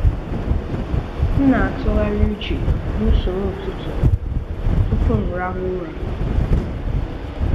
M na-atụgharị uche n’usoro ụtụtụ m tupu m arahụ ụra.